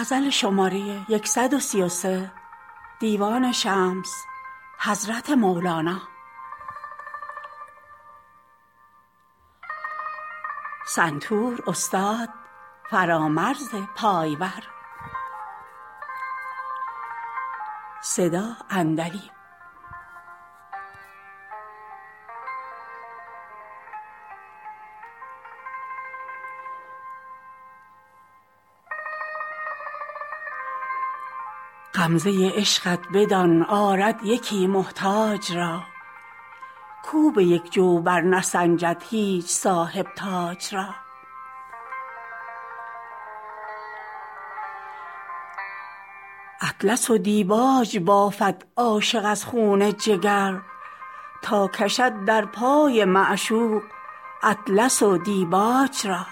غمزه عشقت بدان آرد یکی محتاج را کاو به یک جو برنسنجد هیچ صاحب تاج را اطلس و دیباج بافد عاشق از خون جگر تا کشد در پای معشوق اطلس و دیباج را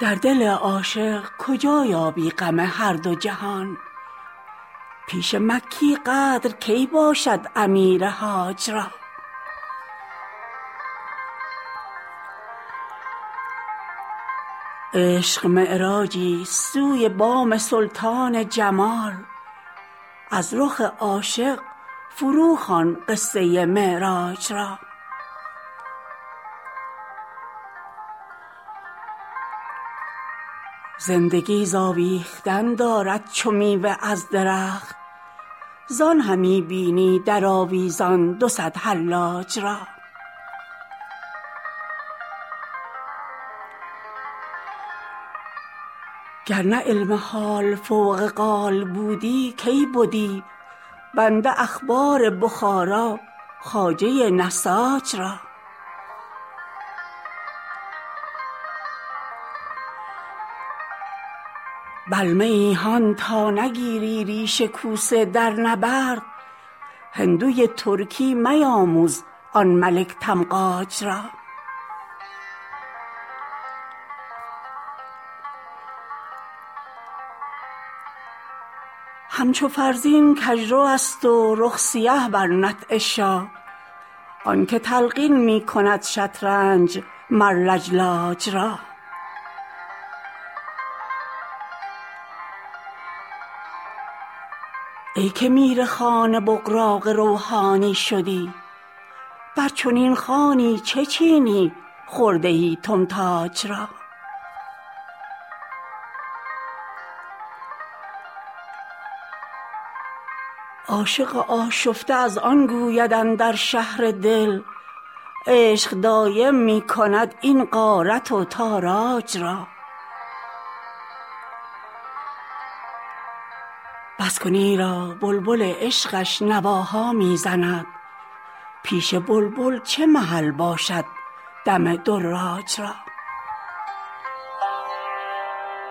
در دل عاشق کجا یابی غم هر دو جهان پیش مکی قدر کی باشد امیر حاج را عشق معراجیست سوی بام سلطان جمال از رخ عاشق فروخوان قصه معراج را زندگی ز آویختن دارد چو میوه از درخت زان همی بینی در آویزان دو صد حلاج را گر نه علم حال فوق قال بودی کی بدی بنده احبار بخارا خواجه نساج را بلمه ای هان تا نگیری ریش کوسه در نبرد هندوی ترکی میاموز آن ملک تمغاج را همچو فرزین کژروست و رخ سیه بر نطع شاه آنک تلقین می کند شطرنج مر لجلاج را ای که میرخوان بغراقان روحانی شدی بر چنین خوانی چه چینی خرده تتماج را عاشق آشفته از آن گوید که اندر شهر دل عشق دایم می کند این غارت و تاراج را بس کن ایرا بلبل عشقش نواها می زند پیش بلبل چه محل باشد دم دراج را